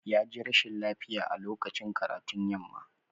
Ya ji rashin lafiya a lokacin karatun yamma.